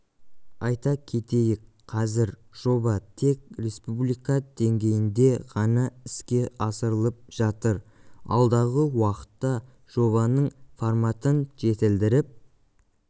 айта кетейік қазір жоба тек республика деңгейінде ғана іске асырылып жатыр алдағы уақытта жобаның форматын жетілдіріп